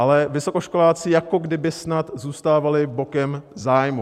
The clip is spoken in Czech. Ale vysokoškoláci jako by snad zůstávali bokem zájmu.